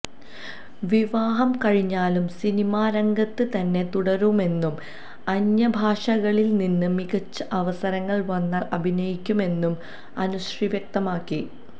വിവാഹം കഴിഞ്ഞാലും സിനിമാരംഗത്ത് തന്നെ തുടരുമെന്നും അന്യഭാഷകളിൽ നിന്ന് മികച്ച അവസരങ്ങൾ വന്നാൽ അഭിനയിക്കും എന്നും അനുശ്രീ വ്യക്തമാക്കി